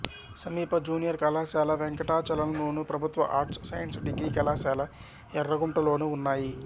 సమీప జూనియర్ కళాశాల వెంకటాచలంలోను ప్రభుత్వ ఆర్ట్స్ సైన్స్ డిగ్రీ కళాశాల ఎర్రగుంటలోనూ ఉన్నాయి